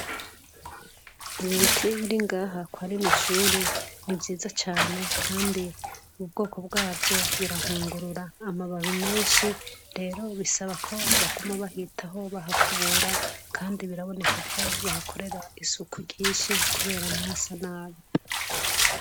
Ibi biti biringaha kwarino shuri nti vyiza cyane kandi ubwoko bwavyo birahungurura amababi menshi. Rero bisaba ko baguma bahitaho bahakubura kandi biraboneka ko bahakorera isuku ryishi kubera n'ihasa nabi.